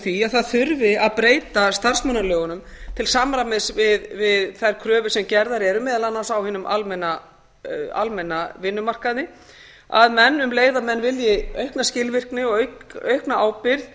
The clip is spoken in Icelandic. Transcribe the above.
því að það þurfi að breyta starfsmannalögunum til samræmis við þær kröfur sem gerðar eru meðal annars á hinum almenna vinnumarkaði að menn um leið og þeir vilji aukna skilvirkni og aukna ábyrgð